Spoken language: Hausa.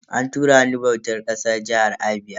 An tura ni bautar ƙasa jihar Abia.